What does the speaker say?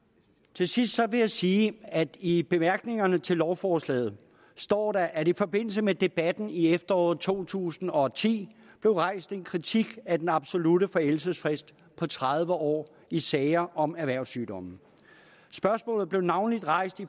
til sidst vil jeg sige at i bemærkningerne til lovforslaget står der at i forbindelse med debatten i efteråret to tusind og ti der rejst en kritik af den absolutte forældelsesfrist på tredive år i sager om erhvervssygdomme spørgsmålet blev navnlig rejst i